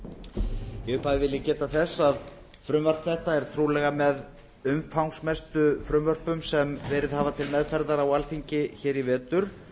í upphafi vil ég geta þess að frumvarp þetta er trúlega með umfangsmestu frumvörpum sem verið hafa til meðferðar á alþingi hér í vetur